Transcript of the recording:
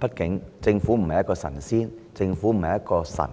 畢竟，政府不是神仙或神，